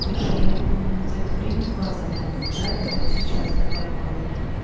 слушай я выполнил за это время два задания да это вот сейчас добавила